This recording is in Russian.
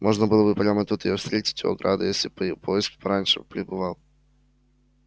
можно было бы прямо тут её встретить у ограды если б поезд пораньше прибывал